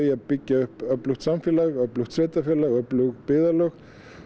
að byggja upp öflugt samfélag öflugt sveitarfélag öflug byggðalög